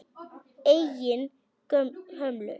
Eigin hömlum.